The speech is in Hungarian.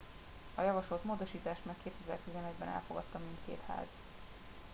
a javasolt módosítást már 2011 ben elfogadta mindkét ház